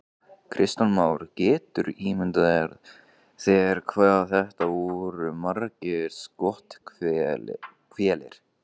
Kristján Már: Geturðu ímyndað þér hvað þetta voru margir skothvellir?